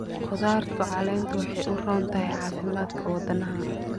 Khudaarta caleentu waxay u roon tahay caafimaadka wadnaha.